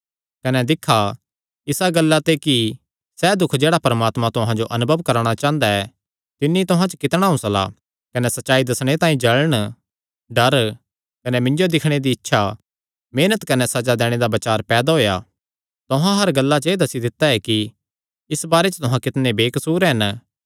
कने दिक्खा इसा गल्ला ते कि सैह़ दुख जेह्ड़ा परमात्मा तुहां जो अनुभव करवाणा चांह़दा ऐ तिन्नी तुहां च कितणा हौंसला कने सच्चाई दस्सणे तांई जल़ण डर कने मिन्जो दिक्खणे दी इच्छा मेहनत कने सज़ा दैणे दा बचार पैदा होएया तुहां हर गल्ला च एह़ दस्सी दित्ता ऐ कि इस बारे च तुहां कितणे बेकसूर हन